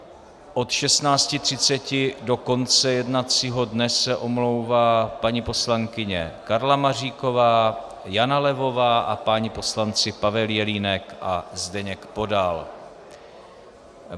Od 16.30 do konce jednacího dne se omlouvá paní poslankyně Karla Maříková, Jana Levová a páni poslanci Pavel Jelínek a Zdeněk Podal.